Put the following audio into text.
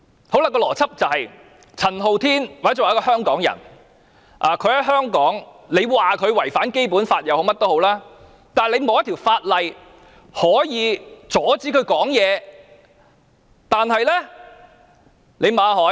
我說的邏輯就是，陳浩天或者一個香港人，政府即使說他在香港違反《基本法》，但也沒有一項法律可以阻止他發言。